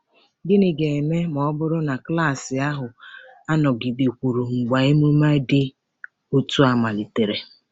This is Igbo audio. Gịnị ga-eme ma ọ bụrụ na klaasị ahụ anọgidekwuru mgbe emume dị otu a malitere?